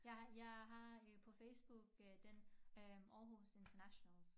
Jeg jeg har øh på Facebook øh den Aarhus internationals